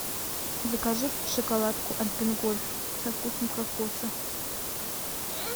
закажи шоколадку альпен гольд со вкусом кокоса